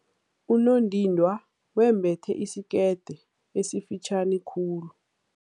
Unondindwa wembethe isikete esifitjhani khulu.